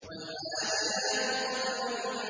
وَالْعَادِيَاتِ ضَبْحًا